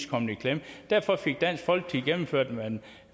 kommet i klemme derfor fik dansk folkeparti gennemført at